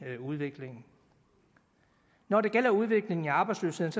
udviklingen når det gælder udviklingen i arbejdsløsheden